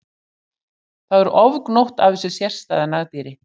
Þá er ofgnótt af þessu sérstæða nagdýri.